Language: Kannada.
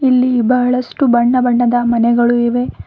ಇಲ್ಲಿ ಬಹಳಷ್ಟು ಬಣ್ಣ ಬಣ್ಣದ ಮನೆಗಳು ಇವೆ.